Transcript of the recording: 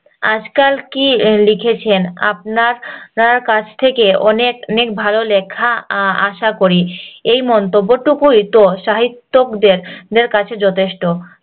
আজকাল কি লিখছেন আপনার নার কাছ থেকে অনেক ভালো লেখা আহ আসা করি এই মনত্মব্য টুকু একটু অসাহিত্যকদের কাছে যথেষ্ট